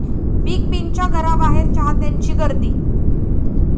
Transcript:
big बींच्या घराबाहेर चाहत्यांची गर्दी